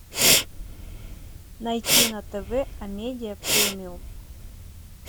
найти на тв амедиа премиум